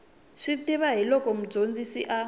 swi tiva hiloko mudyondzisi a